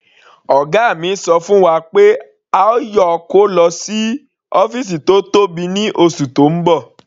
Ọ̀gá mi ṣọ fún wa pé a yóò kó lọ sí ọ́fìsì tó tóbi ní oṣù tó ń bọ̀.